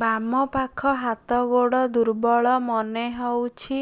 ବାମ ପାଖ ହାତ ଗୋଡ ଦୁର୍ବଳ ମନେ ହଉଛି